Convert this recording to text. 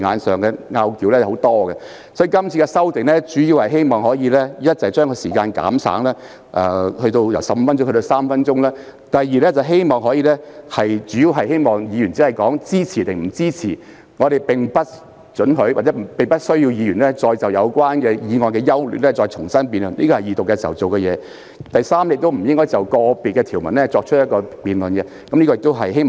是次修訂的主要目的是希望第一，將發言時間由15分鐘減省至3分鐘；第二，規定議員只就支持與否作出表態，而不容許或不需要他們再就有關建議的優劣重新作出辯論，因這應已在二讀程序中完成；以及第三，不用再就個別條文進行辯論。